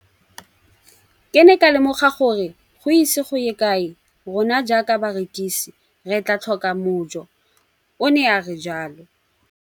Ke ne ka lemoga gore go ise go ye kae rona jaaka barekise re tla tlhoka mojo, o ne a re jalo.